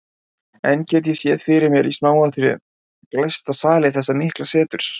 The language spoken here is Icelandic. Enn get ég séð fyrir mér í smáatriðum glæsta sali þessa mikla seturs.